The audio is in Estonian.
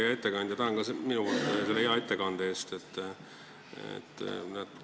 Hea ettekandja, tänan ka omalt poolt selle hea ettekande eest!